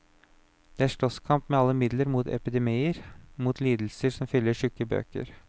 Det er slåsskamp med alle midler mot epidemier, mot lidelser som fyller tjukke bøker.